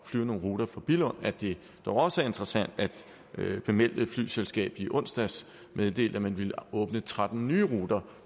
flyve nogle ruter fra billund at det jo også er interessant at bemeldte flyselskab i onsdags meddelte at man ville åbne tretten nye ruter